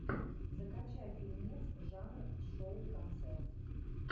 закачай фильмец жанра шоу концерт